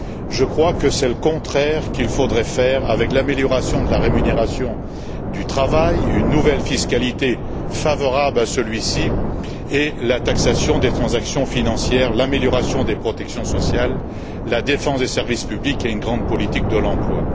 Je crois que c'est le contraire qu'il faudrait faire avec l'amélioration de la rémunération du travail, une nouvelle fiscalité favorable à celui ci et la taxation des transactions financières, l'amélioration des protections sociales, la défense des services publics et une grande politique de l'emploi.